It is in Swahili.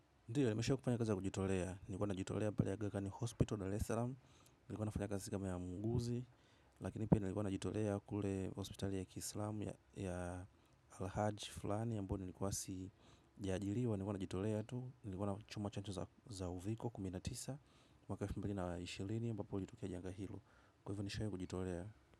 Ndio, nimesha kufanya kazi ya kujitolea. Nilikua najitolea pale Agha Khan Hospital Dar-es-salam. Nilikuwa nafanya kazi kama ya muuguzi. Lakini pia nilikua najitolea kule hospitali ya kiislamu ya Al hajj fulani ambayo nilikuwa sijajiriwa. Nilikuwa najitolea tu. Nilikuwa na chuma chache za uviko, kumi na tisa. Mwaka elfu mbili na ishirini ambapo ilitukia janga hilo. Kwa hivyo, nishai kujitolea.